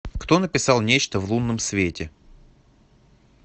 кто написал нечто в лунном свете